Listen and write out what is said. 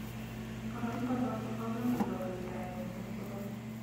Eng boroindo notok komuch iro lildaet negergereni